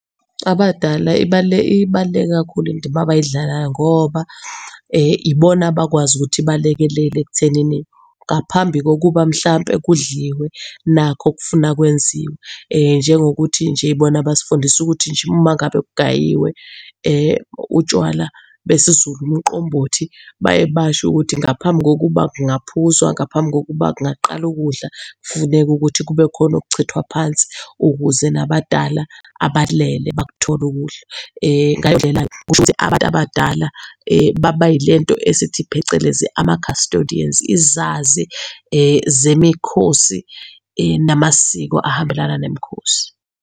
Abadala , ibaluleke kakhulu indima abayidlalayo ngoba ibona abakwazi ukuthi balekelele ekuthenini ngaphambi kokuba mhlampe kudliwe nakhu okufuna kwenziwa. Njengokuthi nje bona basifundisa ukuthi nje mangabe kugayiwe utshwala besiZulu, umqombothi baye basho ukuthi ngaphambi kokuba kungaphuzwa, ngaphambi kokuba kungaqala ukudla kufuneka ukuthi kube khona okuchithwa phansi ukuze nabadala, abalele bakuthole ukudla. Ngaleyo ndlela-ke kushukuthi abantu abadala bayile nto esithi phecelezi ama-custodians, izazi zemikhosi, namasiko ahambelana nemikhosi.